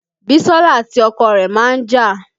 Bisola àti ọkọ rẹ̀ máa ń jà